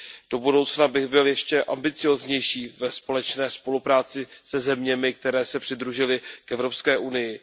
Do budoucna bych byl ještě ambicióznější ve společné spolupráci se zeměmi, které se přidružily k Evropské unii.